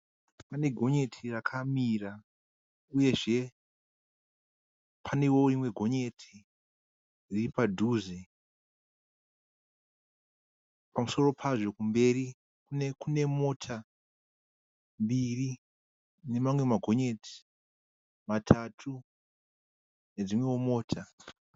Pane gonyeti rakamira uyezve panewo rimwe gonyeti riri padhuze. Pamusoro pazvo kumberi kune mota mbiri nemamwe magonyeti matatu nedzimwewo mota.